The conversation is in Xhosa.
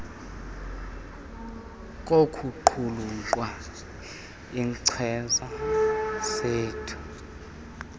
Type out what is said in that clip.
kokuqulunqa iinkcazo zeendima